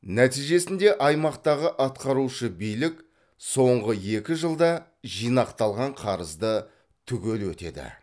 нәтижесінде аймақтағы атқарушы билік соңғы екі жылда жинақталған қарызды түгел өтеді